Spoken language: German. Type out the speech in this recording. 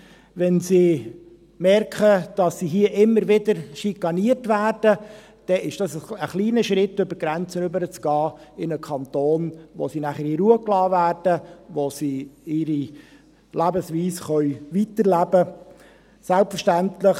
Wenn sie merken, dass sie hier immer wieder schikaniert werden, dann ist es ein kleiner Schritt, über die Grenze zu gehen, in einen Kanton, in dem sie dann in Ruhe gelassen werden und in dem sie ihre Lebensweise weiterleben können.